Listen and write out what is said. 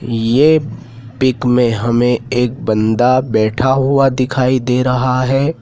ये पिक में हमें एक बंदा बैठा हुआ दिखाई दे रहा है।